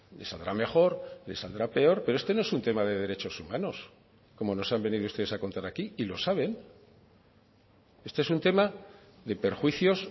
les saldrá mejor les saldrá peor pero este no es un tema de derechos humanos como nos han venido ustedes a contar aquí y lo saben este es un tema de perjuicios